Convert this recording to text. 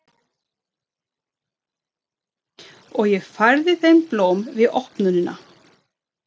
Og ég færði þeim blóm við opnunina.